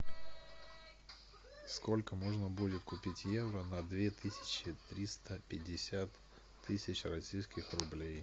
сколько можно будет купить евро на две тысячи триста пятьдесят тысяч российских рублей